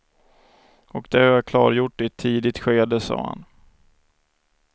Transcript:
Och det har jag klargjort i ett tidigt skede, sade han.